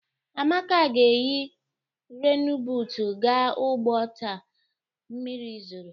Amaka ga-eyi renbuutu gaa ugbo taa mmiri zoro.